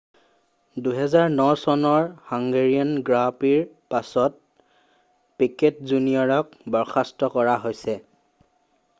2009 চনৰ Hungarian grand প্ৰিৰ পাছত পিকেট জুনিয়ৰক বৰ্খাস্ত কৰা হৈছে